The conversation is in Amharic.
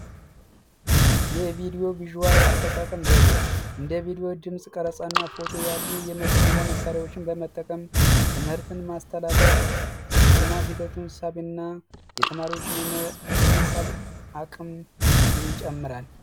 የቪዲዮ ቪዥዋል አጠቃቀም ዘዴዎችን ድምጽ ቀረጻና ፎቶ ያሉት ሚሊዮን መሣሪያዎችን በመጠቀም ትምህርትን ማስተላለፍ የመማር ሂደቱንና የተማሪዎች አቅም ይጨምራል